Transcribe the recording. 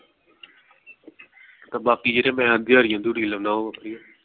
ਤੇ ਬਾਕੀ ਜਿਹੜੇ ਮੈਂ ਦਿਹਾੜੀਆਂ ਦਹੂੜੀਆਂ ਲਾਉੰਦਾ ਉਹ